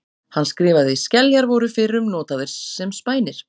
Hann skrifaði: Skeljar voru fyrrum notaðar sem spænir.